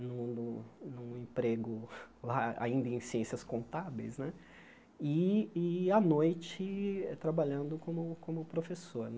Num num num emprego lá ainda em ciências contábeis né e e, à noite, trabalhando como como professor.